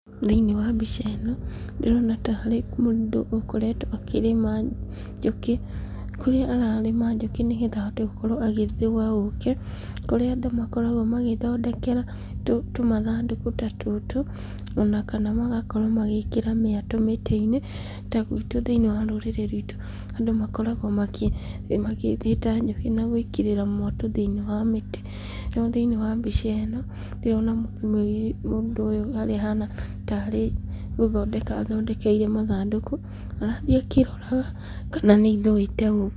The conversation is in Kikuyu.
Thĩinĩ wa mbica ĩno, ndĩrona ta harĩ mũndũ ũkoretwo akĩrĩma njũkĩ, kũrĩa ararĩma njũkĩ nĩgetha ahote gũkorwo agĩthũa ũkĩ, kũrĩa andũ makoragwo magĩthondekera tũmathandũkũ ta tũtũ, ona kana magakorwo magĩĩkira mĩatũ mĩtĩ-inĩ, ta gwitũ thĩinĩ wa rũrĩrĩ rwitũ, andũ makoragwo makĩ magĩthĩta njũkĩ na gwĩkĩrĩra mwatũ thĩinĩ wa mĩtĩ, no thĩinĩ wa mbica ĩno, ndĩrona mũndũ ũyũ harĩa ahana tarĩ gũthondeka athondekeire mathandũkũ, arathiĩ akĩroraga kana nĩ ithũite ũkĩ.